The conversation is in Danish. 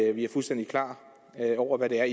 at vi er fuldstændig klar over hvad det er